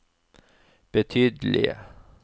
betydelige